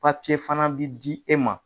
Papiye fana bɛ di e ma.